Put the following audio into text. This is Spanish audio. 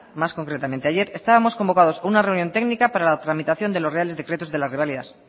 más concretamente ayer estábamos convocados a una reunión técnica para la tramitación de los reales decretos de las reválidas